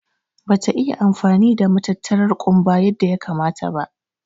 Ɓa ta iya amfani da matattarar kumɓa yadda ya kamata ba.